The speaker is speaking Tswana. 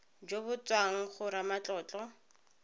jo bo tswang go ramatlotlo